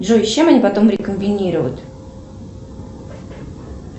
джой с чем они потом рекомбинируют